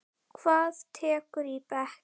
Hvað tekurðu í bekk?